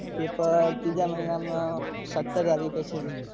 Paper ત્રીજા મહિના માં સત્તર તારીખે છે.